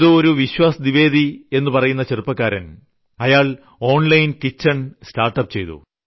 വിശ്വാസ് ദ്വിവേദി എന്ന ചെറുപ്പക്കാരൻ online kitchen startup ചെയ്തുവരുന്നയാളാണ്